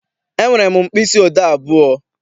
Enwere m mkpịsị odee abụọ.